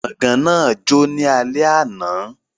Gbọ̀gán náà jó ní alẹ́ àná